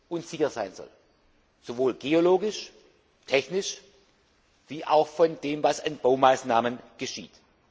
und sicher sein soll, sowohl geologisch und technisch, wie auch von dem, was an Baumaßnahmen geschieht.